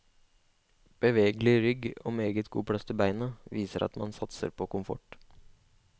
Bevegelig rygg og meget god plass til beina, viser at man satser på komfort.